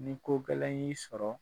Ni kogɛlɛn y'i sɔrɔ